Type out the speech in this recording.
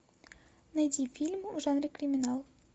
найди фильм в жанре криминал